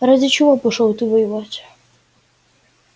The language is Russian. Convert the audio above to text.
ради чего пошёл ты воевать